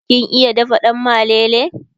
kin iya dafa dan malele?